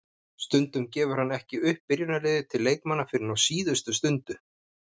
Stundum gefur hann ekki upp byrjunarliðið til leikmanna fyrr en á síðustu stundu.